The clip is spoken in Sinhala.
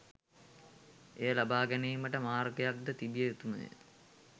එය ලබාගැනීමට මාර්ගයක්ද තිබිය යුතුමය